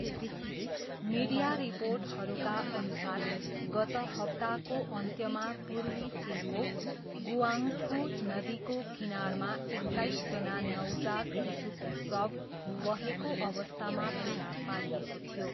Media रिपोर्टहरूका अनुसार गत हप्ताको अन्त्यमा पूर्वी चिनको गुआङ्गफू नदीको किनारमा एक्काइसजना नवजात शिशुको शव बहेको अवस्थामा फेला पारिएको थियो।